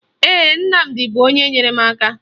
Ee, Nnamdi bụ onye nyere m aka